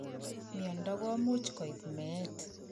Miondo komuch koip meet